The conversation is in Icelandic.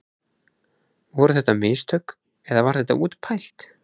Voru þetta mistök eða var þetta útpælt?